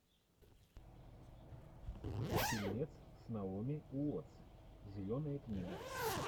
фильмец с наоми уоттс зеленая книга